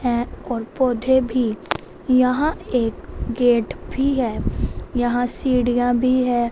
है और पौधे भी यहां एक गेट भी है यहां सीढ़ियां भी है।